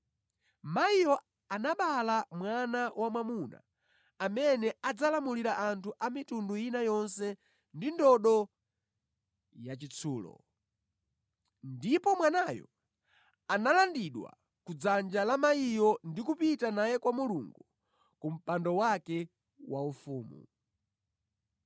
Mayiyo anabereka mwana wamwamuna amene adzalamulira anthu a mitundu ina yonse ndi ndodo yachitsulo. Ndipo mwanayo analandidwa ku dzanja la mayiyo ndi kupita naye kwa Mulungu ku mpando wake waufumu.